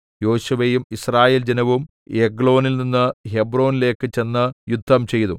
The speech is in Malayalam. യോശുവയും യിസ്രായേൽ ജനവും എഗ്ലോനിൽനിന്ന് ഹെബ്രോനിലേക്ക് ചെന്ന് യുദ്ധംചെയ്തു